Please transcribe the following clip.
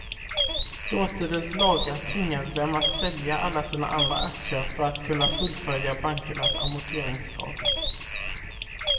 Dåtidens lagar tvingade dem att sälja alla sina andra aktier för att kunna fullfölja bankernas amorteringskrav.